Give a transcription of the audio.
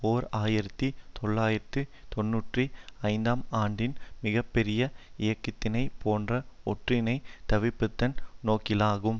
ஓர் ஆயிரத்தி தொள்ளாயிரத்து தொன்னூற்றி ஐந்துஆம் ஆண்டின் மிக பெரிய இயக்கத்தினை போன்ற ஒன்றினை தவிப்பதன் நோக்கிலாகும்